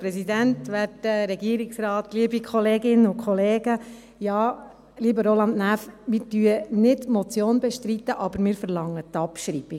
Ja, lieber Roland Näf, wir bestreiten nicht die Motion, aber wir verlangen die Abschreibung.